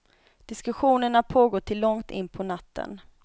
Diskussionerna pågår till långt in på natten.